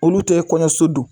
Olu tɛ kɔɲɔso don.